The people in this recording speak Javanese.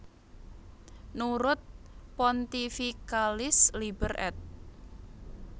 Nurut Pontificalis Liber ed